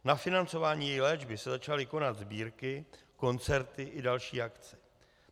Na financování její léčby se začaly konat sbírky, koncerty i další akce.